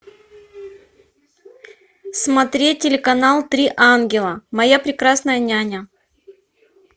смотреть телеканал три ангела моя прекрасная няня